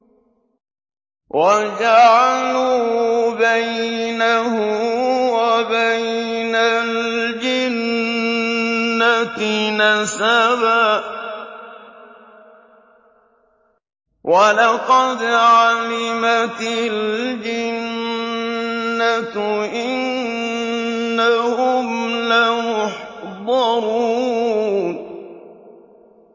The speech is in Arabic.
وَجَعَلُوا بَيْنَهُ وَبَيْنَ الْجِنَّةِ نَسَبًا ۚ وَلَقَدْ عَلِمَتِ الْجِنَّةُ إِنَّهُمْ لَمُحْضَرُونَ